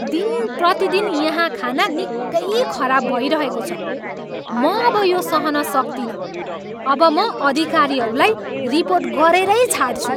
दिनप्रतिदिन यहाँ खाना निकै खराब भइरहेको छ। म अब यो सहन सक्दिनँ । अब म अधिकारीहरूलाई रिपोर्ट गरेरै छाड्छु।